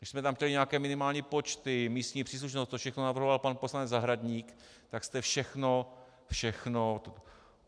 My jsme tam chtěli nějaké minimální počty, místní příslušnost, to všechno navrhoval pan poslanec Zahradník, tak jste všechno, všechno...